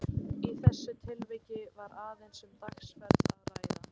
Í þessu tilviki var aðeins um dagsferð að ræða.